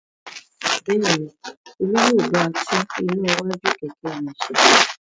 Bẹ́ẹ̀ ni, Olú yóò bá tún iná iwájú kẹ̀kẹ́ rẹ̀ ṣe.